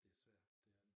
Det svært det er det